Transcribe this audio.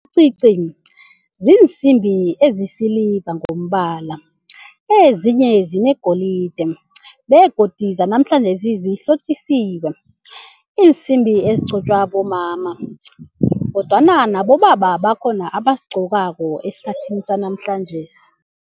ziinsimbi ezisiliva ngombala ezinye zinegolide begodu zanamhlanjesi zihlotjisiwe iinsimbi ezigcotshwa bomama kodwana nabobaba bakhona abasigcokako esikhathini sanamhlanjesi.